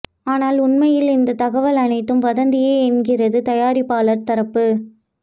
ஆனால் உண்மையில் இந்த தகவல் அனைத்தும் வதந்தியே என்கின்றது தயாரிப்பாளர் தரப்பு